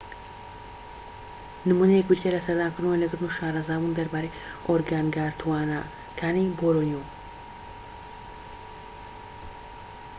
نمونەیەك بریتیە لە سەردانکردن و وێنەگرتن و شارەزابوون دەربارەی ئۆرگانگاتوانەکانی بۆرنیۆ